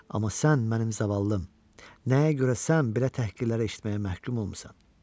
Amma sən mənim zavallım, nəyə görə sən belə təhqirlərə eşitməyə məhkum olmusan?